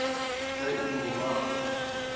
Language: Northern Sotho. se e no ba go